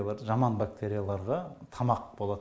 жаман бактерияларға тамақ болат